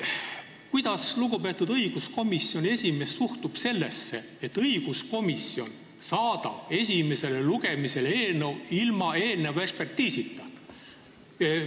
Kuidas lugupeetud õiguskomisjoni esimees suhtub sellesse, et õiguskomisjon saadab esimesele lugemisele eelnõu ilma eelneva ekspertiisita?